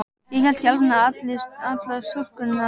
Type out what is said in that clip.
Ég hélt í alvörunni að allar stúlkur á